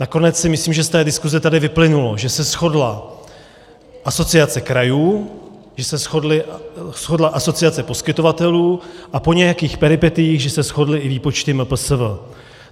Nakonec si myslím, že z té diskuse tady vyplynulo, že se shodla Asociace krajů, že se shodla Asociace poskytovatelů a po nějakých peripetiích že se shodly i výpočty MPSV.